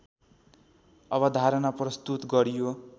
अवधारणा प्रस्तुत गरियो